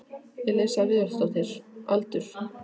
Elísa Viðarsdóttir Aldur?